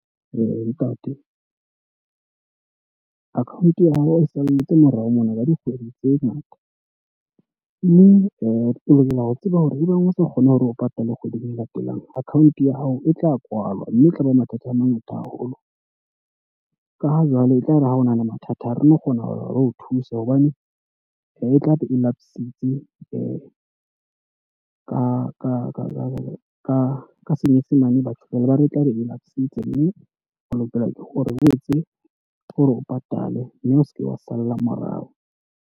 Ntate, account ya hao e salletse morao mona ka dikgwedi tse ngata. Mme o lokela ho tseba hore ebang o sa kgone hore o patale kgweding e latelang, account ya hao e tla kwalwa. Mme e tlaba mathata a mangata haholo ka ha jwale e tlare ha o nahana mathata ha re no kgona ho re o thuse hobane e tlabe e laps-itse. Ka ka jwalo ka ka senyesemane batho jwale ba re e tlabe e laps-itse mme o lokela o etse o re o patale mme o seke wa salla morao.